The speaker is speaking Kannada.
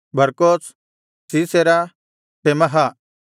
ಬರ್ಕೋಸ್ ಸೀಸೆರ ತೆಮಹ